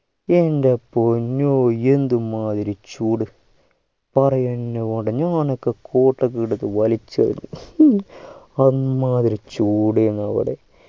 എൻ്റെ പൊന്നൂ എന്തുമാതിരി ചൂട് പറയെന്നെ വേണ്ട ഞാനൊക്കെ coat ഒക്കെ എടുത്ത് വലിച്ചെറിഞ്ഞു അമ്മാതിരി ചൂട് ആണ് അവിടെ